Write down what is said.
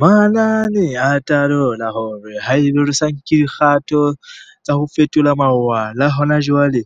Manane a talola hore haeba re sa nke dikgato tsa ho fetola mawala hona jwale,